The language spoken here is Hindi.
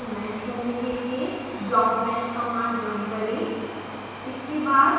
geometry को mesh करने के लिए blockmesh कमांड रन करें